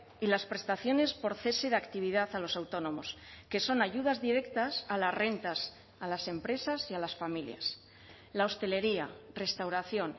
y las prestaciones por cese de actividad a los autónomos que son ayudas directas a las rentas a las empresas y a las familias la hostelería restauración